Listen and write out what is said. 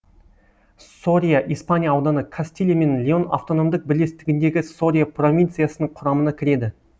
сория испания ауданы кастилия және леон автономдік бірлестігіндегі сория провинциясының құрамына кіреді